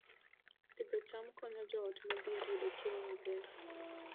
Pidho cham konyo joot modhier yudo chiemo maber